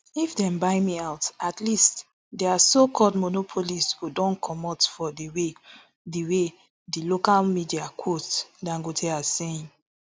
if dem buy me out at least dia socalled monopolist go don comot for di way di way di local media quote dangote as saying